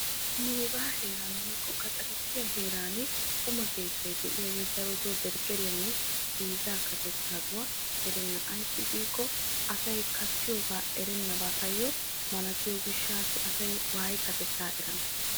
Nuuga heeran de'iyaa katta keettay ubba katta kattuwa erenna ayssi giikko asay kattiyobba erenna gishawu waayi katetta eranna.